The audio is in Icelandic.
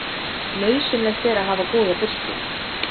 Nauðsynlegt er að hafa góða birtu.